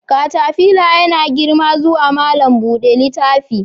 Katafila yana girma zuwa malam buɗe littafi.